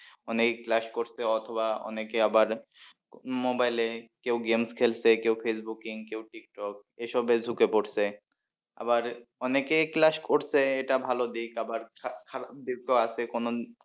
অনেকেই class করছে অথবা অনেকে আবার mobile এ কেউ game খেলছে কেউ ফেইসবুকিং কেউ টিকটক এসবে ঢুকেছে পরছে আবার অনেকে class করছে এটা ভালো দিক আবার খারাপ খারাপ দিকেও আছে কোন